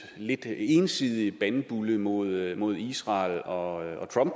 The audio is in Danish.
lidt ensidige bandbulle mod mod israel og